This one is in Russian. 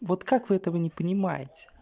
вот как вы этого не понимаете